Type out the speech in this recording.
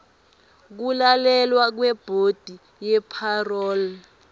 kulalelwa kwebhodi yepharoli